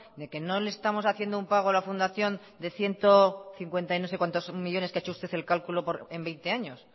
de que no le estamos haciendo un pago a la fundación de ciento cincuenta y no sé cuantos millónes que ha hecho usted el cálculo en veinte años